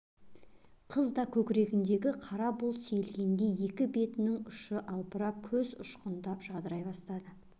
қыз да көкірегіндегі қара бұлт сейілгендей екі бетінің ұшы албырап көз ұшқындап жадырай бастады